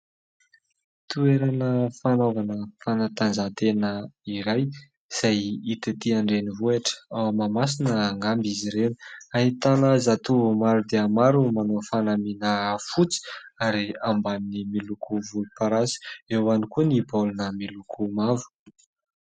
Toerana fanaovana fanatanjahantena iray, izay hita ety an-drenivohotra, ao Mahamasina angamba izy ireo. Ahitana zatovo maro dia maro, manao fanamiana fotsy ary ambaniny miloko volomparasy, eo ihany koa ny baolina miloko mavo.